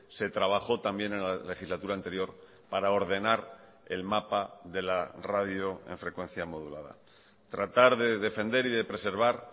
se trabajó también en la legislatura anterior para ordenar el mapa de la radio en frecuencia modulada tratar de defender y de preservar